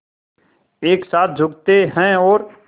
एक साथ झुकते हैं और